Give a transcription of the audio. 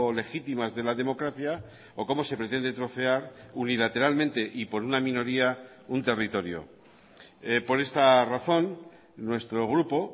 legitimas de la democracia o cómo se pretende trocear unilateralmente y por una minoría un territorio por esta razón nuestro grupo